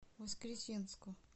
воскресенску